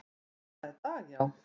Var það í dag, já?